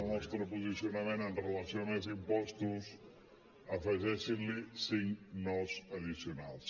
el nostre posicionament amb relació a més impostos afegeixin·hi cinc no addicionals